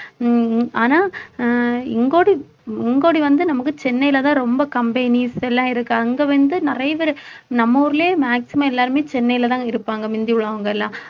உம் உம் ஆனா அஹ் இங்கோடி இங்கோடி வந்து நமக்கு சென்னையில தான் ரொம்ப companies எல்லாம் இருக்கு அங்க வந்து நிறைய பேரு நம்ம ஊர்லயே maximum எல்லாருமே சென்னையிலதாங்க இருப்பாங்க முந்தி உள்ளவங்க எல்லாம்